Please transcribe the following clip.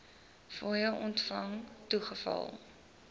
fooie ontvang toegeval